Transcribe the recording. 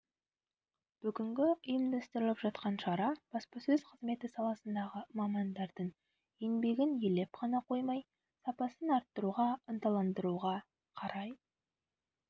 бүгінгі ұйымдастырылып жатқан шара баспасөз қызметі саласындағы мамандардың еңбегін елеп қана қоймай сапасын арттыруға ынталандыруға қарай